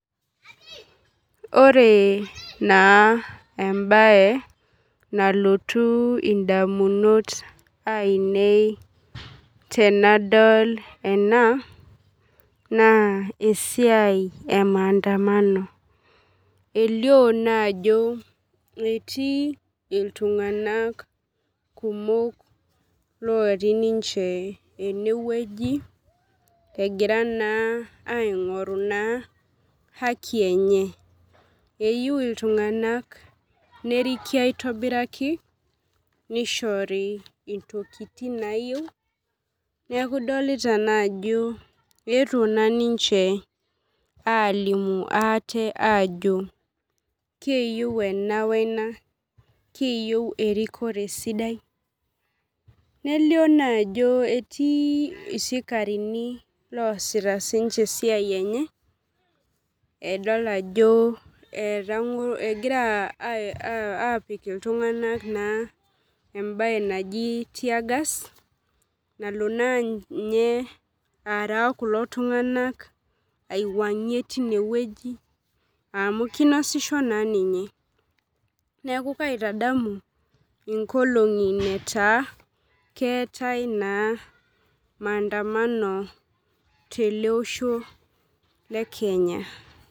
Ore na embae nalotu ndamunot ainei tanadol ena na esiai emaandandamano elio naa ajo etii ltunganak kumok ogiraiaingoru haki enye nerikibaitobiraki nishoti ntokitin nayieu neaku idolita ajo eetuo niche na wena kiyeu erikoto sidai netiibsikirani oasita ninye esiai enye egirai apik ltunganak embae naji teagas nalobna nye aara kulo tunganak aiwangie tinewueji amu kinasisho sinye neaku kaitamadu nkolongi na keetae na maandamano tolosho le Kenya.